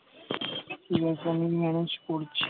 আবার তো আমি manage করছি